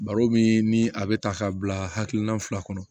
Baro min ni a bɛ ta k'a bila hakilina fila kɔnɔ